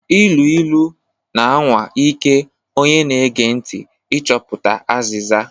Ilu ilu na-anwa ike onye na-ege ntị ịchọpụta azịza.